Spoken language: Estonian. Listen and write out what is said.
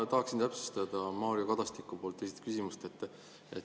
Ma tahaksin täpsustada Mario Kadastiku küsimust.